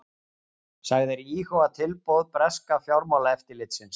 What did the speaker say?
Sagðir íhuga tilboð breska fjármálaeftirlitsins